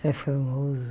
Era famoso.